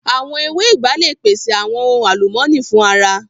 Awọn ewé ìgbá le pèṣè awọn ohun alumọni fun ara